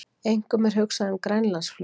Einkum er hugsað um Grænlandsflug